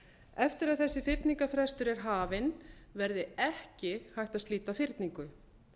eftir að þessi fyrningarfrestur er hafinn verði ekki hægt að slíta fyrningu